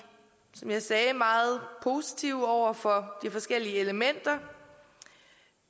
som jeg sagde meget positive over for de forskellige elementer